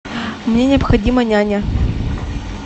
мне необходима няня